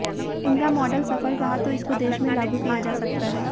इनका मॉडल सफल रहा तो इसको देश में लागू किया जा सकता है